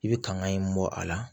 I bɛ kanga in bɔ a la